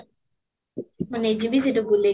ମୁଁ ନେଇ ଯିବି ସେଠି ବୁଲେଇବି